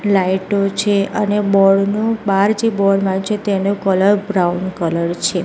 લાઈટો છે અને બોર્ડ નુ બાર જે બોર્ડ માર્યુ છે તેનુ કલર બ્રાઉન કલર છે.